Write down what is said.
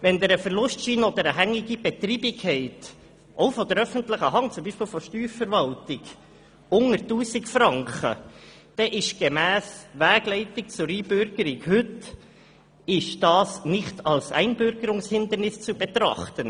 Wenn Sie einen Verlustschein oder eine hängige Betreibung unter 1000 Franken haben – auch von der öffentlichen Hand, beispielsweise von der Steuerverwaltung –, dann ist dies heute gemäss Wegleitung zur Einbürgerung nicht als Einbürgerungshindernis zu betrachten.